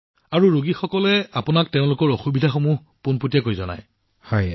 প্ৰধানমন্ত্ৰীঃ আৰু যিজন ৰোগী তেওঁ আপোনাক তেওঁৰ অসুবিধাৰ বিষয়ে পোনপটীয়াকৈ কয়